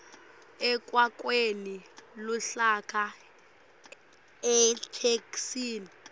ekwakheni luhlaka itheksthi